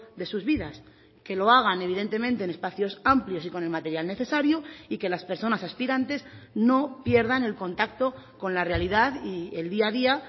de sus vidas que lo hagan evidentemente en espacios amplios y con el material necesario y que las personas aspirantes no pierdan el contacto con la realidad y el día a día